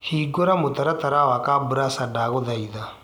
hĩngura mũtaratara wa kabrasha ndagũthaĩtha